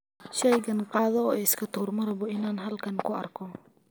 Shaygan qaado oo iska tuur, ma rabo inaan halkan ku arko.